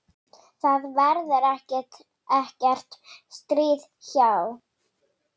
Það verður ekkert stríð háð.